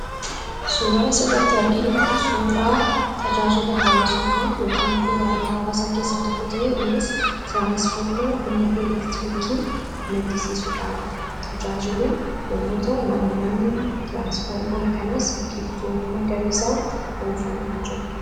Suuraan asirratti arginu kun suuraa tajaajila hawaasummaa yookiin bu'uuraalee hawaasaa keessaa tokko kan ta'e tiraanisfoormara humna elektirikii maddisiisuudhaaf tajaajilu yommuu ta'u, naannoo tiraansfoormara kanas biqiltoota magariisaan uwwifamee kan jirudha.